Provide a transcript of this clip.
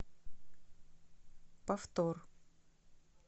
повтор